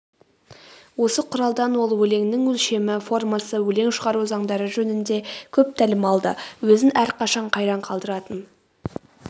осы құралдан ол өлеңнің өлшемі формасы өлең шығару заңдары жөнінде көп тәлім алды өзін әрқашан қайран қалдыратын